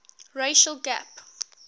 racial gap